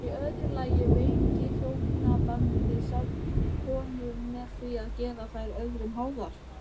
Í öðru lagi veiki hjónabandið sjálft konur með því að gera þær öðrum háðar.